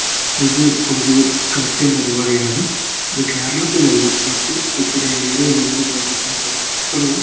ഇതു ഒരു ക്രിസ്ത്യൻ പരിപാടിയാണ് ഇതു കേരളത്തിലല്ല മറ്റു ഉത്തരേന്ത്യയിലോ അല്ലെങ്കിലു കേരളത്തിന് പൊറത്തുള്ള--